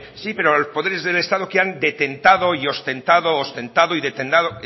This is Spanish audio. sí pero los poderes del estado que han detentado y ostentado ostentado y